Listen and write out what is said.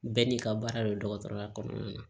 Bɛɛ n'i ka baara don dɔgɔtɔrɔya kɔnɔna na